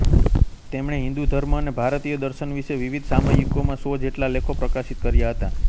તેમણે હિન્દુ ધર્મ અને ભારતીય દર્શન વિશે વિવિધ સામયિકોમાં સો જેટલા લેખો પ્રકાશિત કર્યા હતા